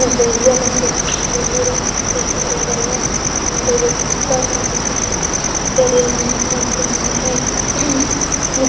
एगो उजर रंग के ब्लू रंग के टी-शर्ट हो करिया रंग के पेंट एगो धूसर रंग के सब करिया रंग के पेंट पहेनले है